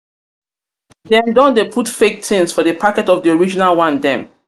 dem don dey put fake tins for di packet of di original one dem.